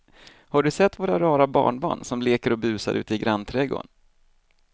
Har du sett våra rara barnbarn som leker och busar ute i grannträdgården!